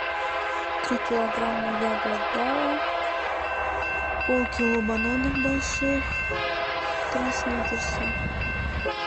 три килограмма яблок гала полкило бананов больших три сникерса